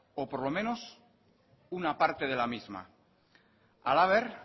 o por lo menos una parte de la misma halaber